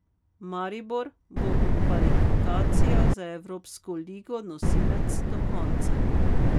Maribor bo v kvalifikacijah za Evropsko ligo nosilec do konca.